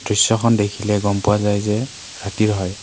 দৃশ্যখন দেখিলে গম পোৱা যায় যে ৰাতিৰ হয়।